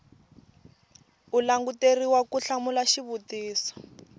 u languteriwa ku hlamula xivutiso